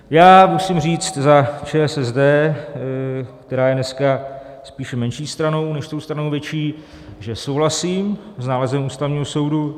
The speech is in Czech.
Já musím říct za ČSSD, která je dneska spíše menší stanou než tou stranou větší, že souhlasím s nálezem Ústavního soudu.